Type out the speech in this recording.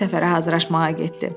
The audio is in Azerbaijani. deyib səfərə hazırlaşmağa getdi.